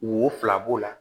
Wo fila b'o la